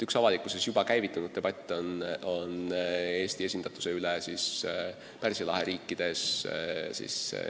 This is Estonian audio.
Üks avalikkuses juba käivitunud debatt on Eesti esindatuse üle Pärsia lahe riikides.